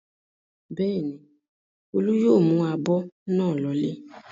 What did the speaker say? Bẹ́ẹ̀ ni, Olú yóò mú abọ́ náà lọlé.